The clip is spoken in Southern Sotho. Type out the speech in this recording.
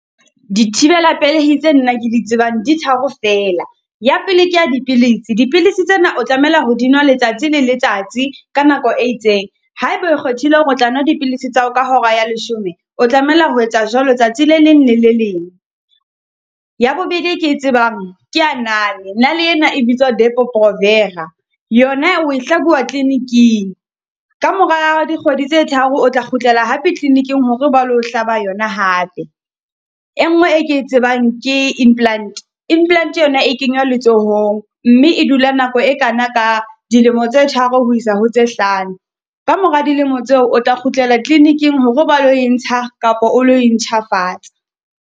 Di thibela pelehi tse nna ke di tsebang di tharo fela. Ya pele ke ya dipilisi, dipilisi tsena o tlamela ho dinwa letsatsi le letsatsi ka nako e itseng. Ha ebe o kgethile hore o tla no dipilisi tsa hao ka hora ya leshome, o tlamela ho etsa jwalo tsatsi le leng le le leng. Ya bobedi e ke e tsebang ke ya nale, nale ena e bitswa ho depo-provera. Yona o e hlabuwa kliniking, ka mora dikgwedi tse tharo o tla kgutlela hape kliniking hore ba lo o hlaba yona hape. E nngwe e ke e tsebang ke implant, implant yona e kenywa letsohong mme e dula nako e kana ka dilemo tse tharo ho isa ho tse hlano. Ka mora dilemo tseo, o tla kgutlela kliniking hore ba lo e ntsha kapo o lo e ntjhafatsa.